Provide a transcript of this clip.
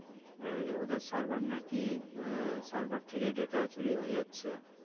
ওই ওদের server নাকি server থেকে data চুরি হয়ে যাচ্ছে